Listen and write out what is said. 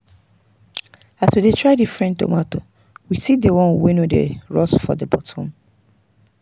as we try different tomato we see the one wey no dey rot for the bottom.